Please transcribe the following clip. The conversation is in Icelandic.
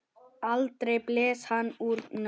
Aldrei blés hann úr nös.